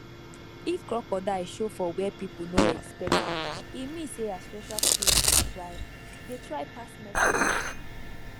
if crocodile show for where people no expect am e mean say ancestral spirit dey try dey try pass message